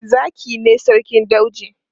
Zaki ne sarkin dauji.